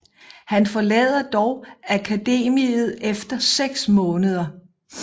Han forlader dog akademiet efter seks måneder